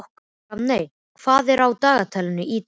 Rafney, hvað er á dagatalinu í dag?